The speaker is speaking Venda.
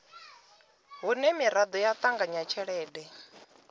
hune miraḓo ya ṱanganya tshelede